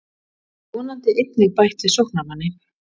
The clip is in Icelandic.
Ég get vonandi einnig bætt við sóknarmanni.